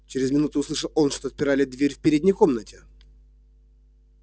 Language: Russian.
чрез минуту услышал он что отпирали дверь в передней комнате